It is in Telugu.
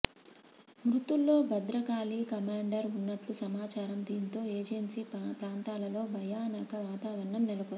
మృతుల్లో భద్రకాళి కమాండర్ ఉన్నట్లు సమాచారం దీంతో ఏజెన్సీ ప్రాంతాలలో భయానక వాతవరణం నెలకొంది